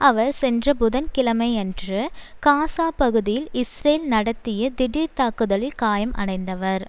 அவர் சென்ற புதன் கிழமையன்று காசா பகுதியில் இஸ்ரேல் நடத்திய திடீர் தாக்குதலில் காயம் அடைந்தவர்